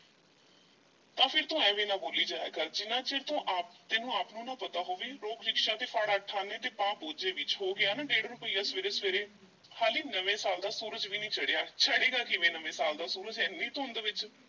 ਤਾਂ ਫੇਰ ਤੂੰ ਐਵੇਂ ਨਾ ਬੋਲੀ ਜਾਇਆ ਕਰ, ਜਿੰਨਾ ਚਿਰ ਤੂੰ ਆਪ ਤੈਨੂੰ ਆਪ ਨੂੰ ਨਾ ਪਤਾ ਹੋਵੇ ਰੋਕ ਰਿਕਸ਼ਾ ਤੇ ਫੜ ਅੱਠ ਆਨੇ ਤੇ ਪਾ ਬੋਝੇ ਵਿੱਚ, ਹੋ ਗਿਆ ਨਾ ਡੇੜ੍ਹ ਰੁਪਇਆ ਸਵੇਰੇ-ਸਵੇਰੇ, ਹਾਲੀ ਨਵੇਂ ਸਾਲ ਦਾ ਸੂਰਜ ਵੀ ਨਹੀਂ ਚੜ੍ਹਿਆ, ਚੜ੍ਹੇਗਾ ਕਿਵੇਂ ਨਵੇਂ ਸਾਲ ਦਾ ਸੂਰਜ ਐਨੀ ਧੁੰਦ ਵਿਚ।